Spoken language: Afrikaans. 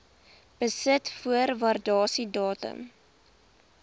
besit voor waardasiedatum